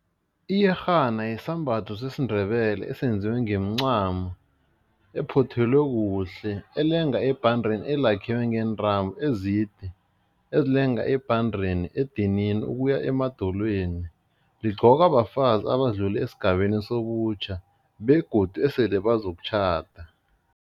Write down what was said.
Iyerhana yisambatho sesiNdebele esenziwe ngemincamo ephothelwe kuhle elenga ebhandeni elakhiwe ngeentambo ezide ezilenga ebhandeni, edinini ukuya emadolweni, ligqokwa bafazi abadlula esigabeni sobutjha begodu esele bazokutjhada.